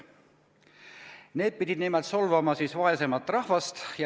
Need pidid nimelt solvama vaesemat rahvast.